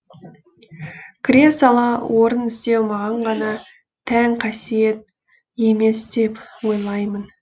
кіре сала орын іздеу маған ғана тән қасиет емес деп ойлаймын